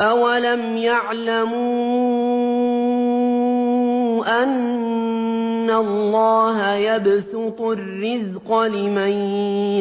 أَوَلَمْ يَعْلَمُوا أَنَّ اللَّهَ يَبْسُطُ الرِّزْقَ لِمَن